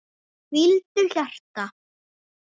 Hvíldu, hjarta.